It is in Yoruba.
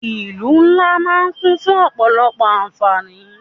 Ìlú ńlá máà ń kún fún ọ̀pọ̀lọpọ̀ àǹfáání.